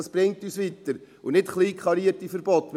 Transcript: Dies bringt uns weiter und nicht kleinkarierte Verbote.